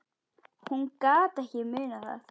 Hún gat ekki munað það.